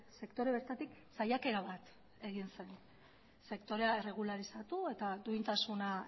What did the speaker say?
sektore bertatik saiakera bat egin zen sektorea erregularizatu eta duintasuna